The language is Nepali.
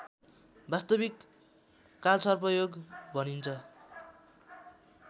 वास्तविक कालसर्पयोग भनिन्छ